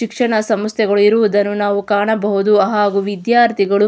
ಶಿಕ್ಷಣ ಸಮಸ್ಥೆಗಳು ಇರುವುದನ್ನು ನಾವು ಕಾಣಬಹುದು ಹಾಗು ವಿದ್ಯಾರ್ಥಿಗಳು --